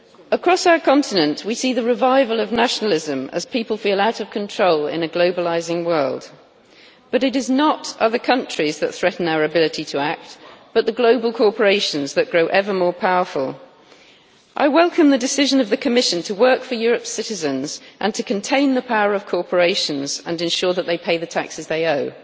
Across our continent, we see the revival of nationalism as people feel out of control in a globalising world, yet it is not other countries that threaten our ability to act, but the global corporations that grow ever more powerful. I welcome the decision of the Commission to work for Europe's citizens and to contain the power of corporations and ensure that they pay the taxes they owe.